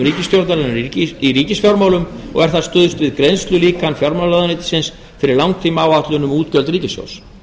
ríkisstjórnarinnar í ríkisfjármálum og er þar stuðst við greiðslulíkan fjármálaráðuneytisins fyrir langtímaáætlun um útgjöld ríkissjóðs